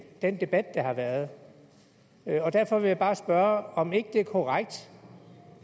den debat der har været derfor vil jeg bare spørge om ikke det er korrekt